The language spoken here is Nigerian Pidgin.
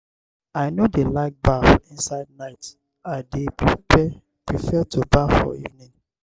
i no dey like baff inside night i dey prefare to baff for evening.